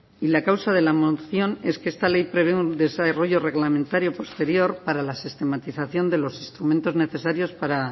y la causa de la moción es que esta ley prevé un desarrollo reglamentario posterior para la sistematización de los instrumentos necesarios para